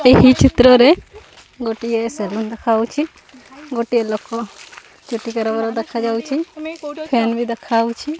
ଏହି ଚିତ୍ର ରେ ଗୋଟିଏ ସେଲୁନ ଦେଖା ଯାଉଅଛି ଗୋଟେ ଲୋକ ଚୁଟି କାରବାର ଦେଖା ଯାଉଅଛି ଫାୟାନ ବି ଦେଖା ଯାଉଅଛି।